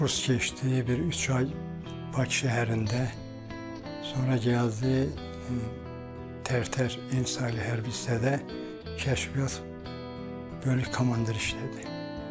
Kurs keçdi, bir üç ay Bakı şəhərində, sonra gəldi Tərtər Ensaylı Hərbi hissədə Kəşfiyyat bölük komandir işlədi.